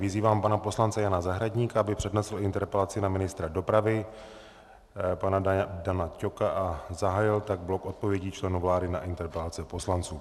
Vyzývám pana poslance Jana Zahradníka, aby přednesl interpelaci na ministra dopravy pana Dana Ťoka a zahájil tak blok odpovědí členů vlády na interpelace poslanců.